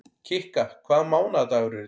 Kikka, hvaða mánaðardagur er í dag?